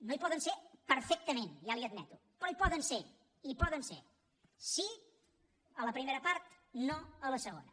no hi poden ser perfectament ja li ho admeto però hi poden ser hi poden ser sí a la primera part no a la segona